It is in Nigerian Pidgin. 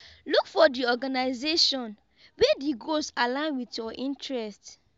look for di organisation wey di goals align with your interest